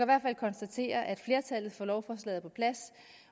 hvert fald konstatere at flertallet for lovforslagene er på plads